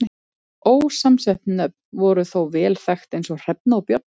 Ósamsett nöfn voru þó vel þekkt eins og Hrefna og Björn.